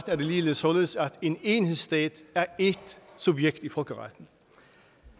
er det ligeledes således at en enhedsstat er ét subjekt i folkeretten